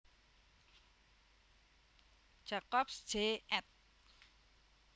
Jacobs Jay ed